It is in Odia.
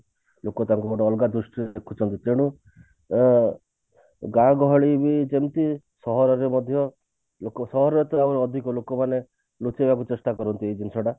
ଲୋକ ତାଙ୍କୁ ଗୋଟେ ଅଲଗା ଦୃଷ୍ଟିରେ ଦେଖୁଛନ୍ତି ତେଣୁ ଅ ଗାଁ ଗହଳି ରେ ଯେମତି ସହରରେ ମଧ୍ୟ ଲୋକ ସହରରେ ତ ଅଧିକ ଲୋକମାନେ ଲୁଚେଇବାକୁ ଚେଷ୍ଟା କରନ୍ତି ଏଇ ଜିନିଷ ଟା